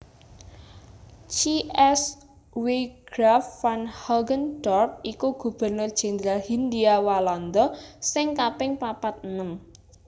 C S W Graaf van Hogendorp iku Gubernur Jendral Hindhia Walanda sing kaping papat enem